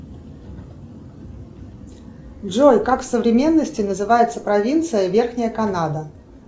джой как в современности называется провинция верхняя канада